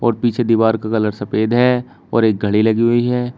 और पीछे दीवार का कलर सफेद है और एक घड़ी लगी हुई है।